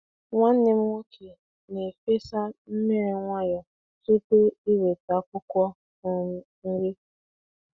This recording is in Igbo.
Nwanne m nwoke na-efesa mmiri nwayọ tupu iweta akwụkwọ um nri.